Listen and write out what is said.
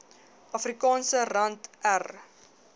afrikaanse rand r